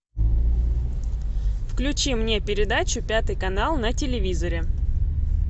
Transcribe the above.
включи мне передачу пятый канал на телевизоре